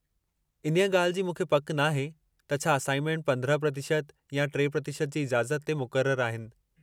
इन्हीअ ॻाल्हि जी मूंखे पकि नाहे, त छा असाइनमेंट 15% या 3% जी इजाज़त ते मुक़रर आहिनि.